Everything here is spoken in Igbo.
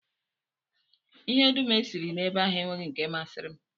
Ihe dum e siri ebe ahụ enweghị nke masịrị m.